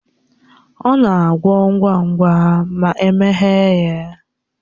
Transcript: Ọnya na-agwọ ngwa ngwa ma emeghe ya